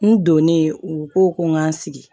N donnen u ko ko n k'an sigi